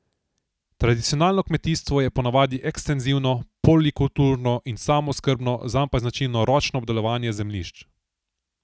Tradicionalno kmetijstvo je ponavadi ekstenzivno, polikulturno in samooskrbno, zanj pa je značilno ročno obdelovanje zemljišč.